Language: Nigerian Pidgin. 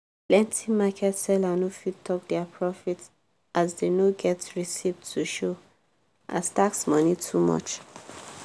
plenti market seller no fit talk dia profit as dey no get receipt to show as tax money too much.